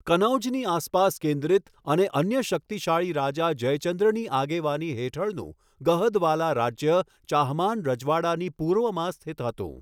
કનૌજની આસપાસ કેન્દ્રિત અને અન્ય શક્તિશાળી રાજા જયચંદ્રની આગેવાની હેઠળનું, ગહદવાલા રાજ્ય ચાહમાન રજવાડાની પૂર્વમાં સ્થિત હતું.